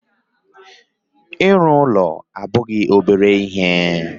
Ịrụ ụlọ abụghị obere ihe